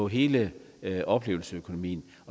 hele oplevelsesøkonomien